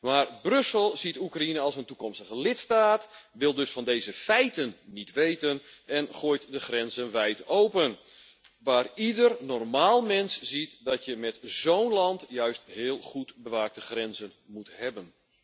Maar Brussel ziet Oekraïne als een toekomstige lidstaat, wil dus van deze feiten niet weten en gooit de grenzen wijd open, terwijl ieder normaal mens ziet dat je met zo'n land juist heel goed bewaakte grenzen moet hebben.